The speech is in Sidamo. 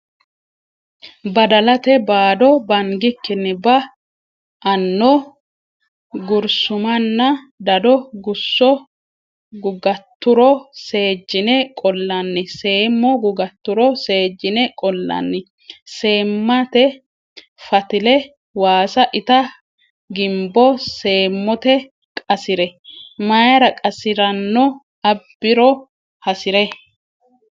Badalate baado Bangikkinni ba anno gursumanna dado Gusso gugatturo seejjine qollanni Seemo gugatturo seejjine qollanni Seemmate fatile Waasa ita gimbo seemote qasi re Mayra qasi ranno abbi ro hasi re.